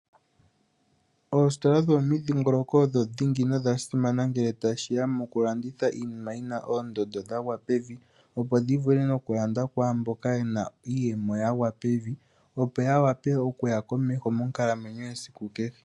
Oositola dho momidhingoloko odho dhingi nodha simana ngele tashiya mo kulanditha iinima yina oondando dhagwa pevi, opo dhivule nokulandwa kwaamboka yena iiyemo yagwa pevi , opo ya wape okuya komeho monkalamwenyo yesiku kehe.